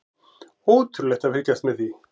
Ótrúlegt að fylgjast með því.